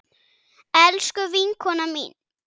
Elsku vinkona mín.